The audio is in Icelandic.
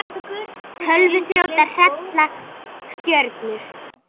Tölvuþrjótar hrella stjörnur